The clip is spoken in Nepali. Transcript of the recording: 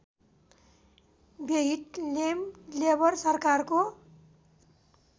व्यहिटलेम लेबर सरकारको